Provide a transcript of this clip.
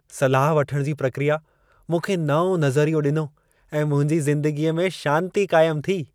सलाह वठण जी प्रकिया मूंखे नओं नज़रियो ॾिनो ऐं मुंहिंजी ज़िंदगीअ में शांती क़ाइम थी।